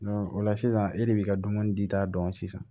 o la sisan e de bi ka dumuni di ta dɔn sisan